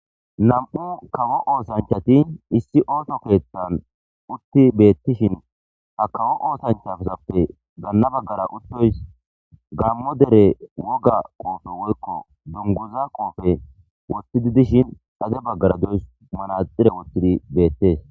nam7u kawo oosanchati issi ooto keettan utti beettishin ha kawo oosanchasappe ganna baggara uddoys gammo dere woga qoofe woykko dunguza qoofe wottidi dishin xade baggara doys manaxire wottidi beettees